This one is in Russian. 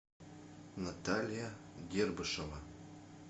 наталья гербышева